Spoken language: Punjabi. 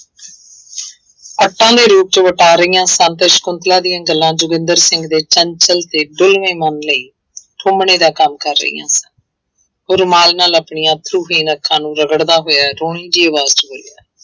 ਰਹੀਆਂ ਸਨ ਤਾਂ ਸਕੁੰਤਲਾ ਦੀਆਂ ਗੱਲਾਂ ਜੋਗਿੰਦਰ ਸਿੰਘ ਦੇ ਚੰਚਲ ਤੇ ਡੁਲਵੇਂ ਮਨ ਲਈ ਠੁੰਮਣੇ ਦਾ ਕੰਮ ਕਰ ਰਹੀਆਂ ਸਨ, ਉਹ ਰੁਮਾਲ ਨਾਲ ਆਪਣੀਆਂ ਅੱਥਰੂਹੀਨ ਅੱਖਾਂ ਨੂੰ ਰਗੜਦਾ ਹੋਇਆ, ਰੋਣੀ ਜਿਹੀ ਆਵਾਜ਼ ਚ ਬੋਲਿਆ